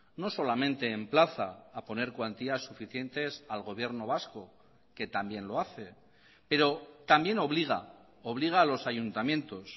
no solamente emplaza a poner cuantías suficientes al gobierno vasco que también lo hace pero también obliga obliga a los ayuntamientos